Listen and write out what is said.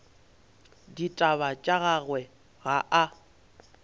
ditaba tša gagwe ga a